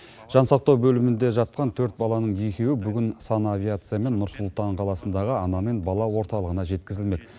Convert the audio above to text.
жансақтау бөлімінде жатқан төрт баланың екеуі бүгін санавиациямен нұр сұлтан қаласындағы ана мен бала орталығына жеткізілмек